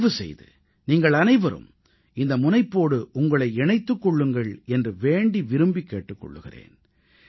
தயவு செய்து நீங்களனைவரும் இந்த முனைப்போடு உங்களை இணைத்துக் கொள்ளுங்கள் என்று வேண்டி விரும்பிக் கேட்டுக் கொள்கிறேன்